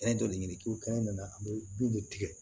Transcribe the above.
joli ɲini k'o kɛ nana a bɛ bin de tigɛ